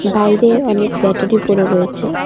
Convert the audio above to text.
বাইরে অনেক ব্যাটারি পড়ে রয়েছে।